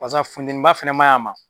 Paseke funtɛniba fana ma ɲ'a ma.